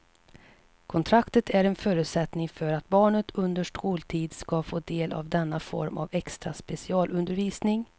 Kontraktet är en förutsättning för att barnet under skoltid ska få del av denna form av extra specialundervisning.